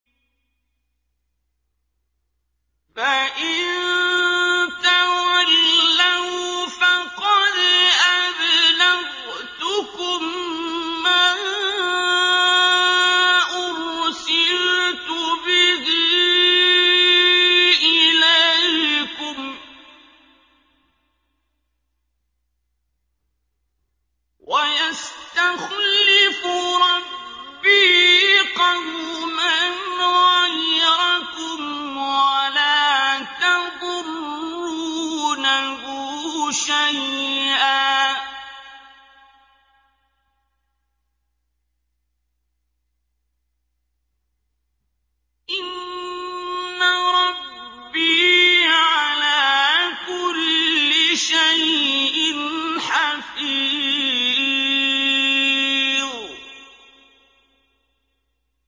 فَإِن تَوَلَّوْا فَقَدْ أَبْلَغْتُكُم مَّا أُرْسِلْتُ بِهِ إِلَيْكُمْ ۚ وَيَسْتَخْلِفُ رَبِّي قَوْمًا غَيْرَكُمْ وَلَا تَضُرُّونَهُ شَيْئًا ۚ إِنَّ رَبِّي عَلَىٰ كُلِّ شَيْءٍ حَفِيظٌ